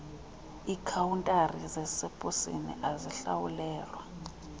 kwiikhawuntari zaseposini azihlawulelwa